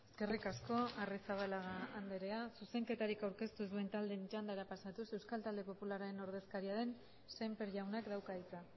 eskerrik asko arrizabalaga anderea zuzenketarik aurkeztu ez duen taldeen txandara pasatuz euskal talde popularraren ordezkaria den sémper jaunak dauka hitza